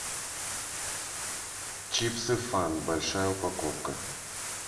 чипсы фан большая упаковка